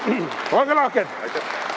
Olge lahked!